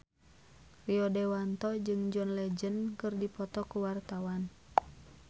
Rio Dewanto jeung John Legend keur dipoto ku wartawan